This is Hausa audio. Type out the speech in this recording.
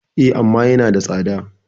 E, amma yanada tsada.